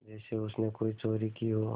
जैसे उसने कोई चोरी की हो